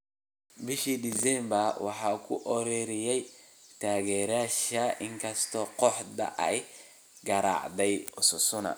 Bishii December waxaa ku ooriyay taageerayaashiisa inkastoo kooxda ay garaacday Osasuna.